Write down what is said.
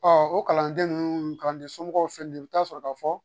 Ɔɔ o kalanden nunnu kalanden somɔgɔw filɛ nin ye, i bi taa sɔrɔ ka fɔ